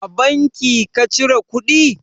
A banki ka cire kuɗi?